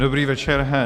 Dobrý večer.